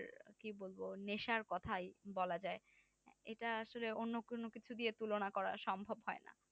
কি বলবো নেশার কথাই বলা যাই এটা আসলে অন্য কোনো কিছু দিয়ে তুলনা করা সম্ভব হয় না